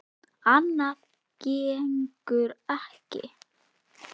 Annað gengur ekki.